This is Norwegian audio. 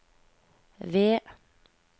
ved